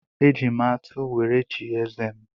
E ji m atụ were chie eze m.